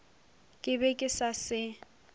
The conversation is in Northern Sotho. ke be ke sa se